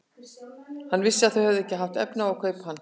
Hann vissi að þau höfðu ekki haft efni á að kaupa hann.